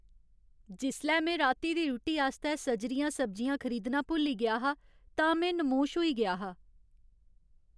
जिसलै में राती दी रुट्टी आस्तै सजरियां सब्जियां खरीदना भुल्ली गेआ हा तां में नमोश होई गेआ हा।